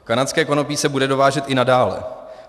Kanadské konopí se bude dovážet i nadále.